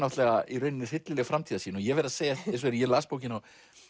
í raun hryllileg framtíðarsýn ég verð að segja að þegar ég las bókina